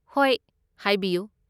ꯍꯣꯏ, ꯍꯥꯏꯕꯤꯌꯨ꯫